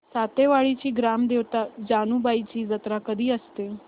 सातेवाडीची ग्राम देवता जानुबाईची जत्रा कधी असते